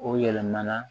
O yɛlɛmana